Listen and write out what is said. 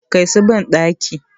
Kai su bandaki!